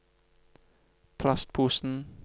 plastposen